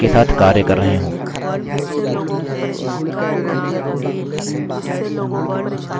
यह statements बहुत ही लाभदायक होते हैं जब ढेर सारे data के साथ कार्य कर रहे हों